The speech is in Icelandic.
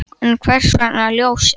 En hvers vegna Ljósið?